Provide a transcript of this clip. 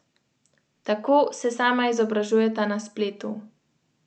In v mislih na glas berem narečne besede, da mi zazvenijo domače.